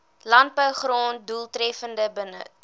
landbougrond doeltreffender benut